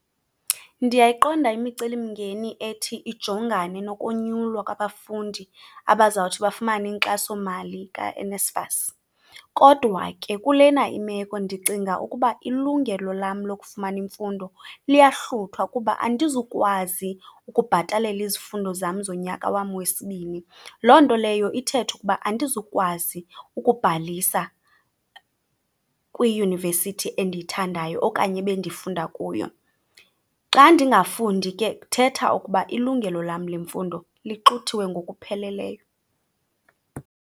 Ndiyayiqonda imicelimngeni ethi ijongane nokonyulwa kwabafundi abazawuthi bafumane inkxasomali kaNSFAS kodwa ke kulena imeko ndicinga ukuba ilungelo lam lokufumana imfundo liyahluthwa kuba andizukwazi ukubhatalela izifundo zam zonyaka wam wesibini. Loo nto leyo ithetha ukuba andizukwazi ukubhalisa kwiyunivesithi endiyithandayo okanye ebendifunda kuyo. Xa ndingafundi ke kuthetha ukuba ilungelo lam lemfundo lixuthiwe ngokupheleleyo.